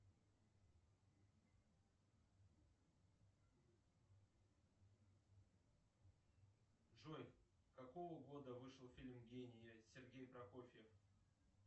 джой какого года вышел фильм гений сергей прокофьев